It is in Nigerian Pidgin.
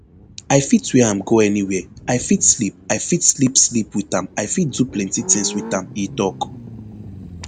i fit wear am go anywia i fit sleep i fit sleep sleep wit am i fit do plenti tins wit am e tok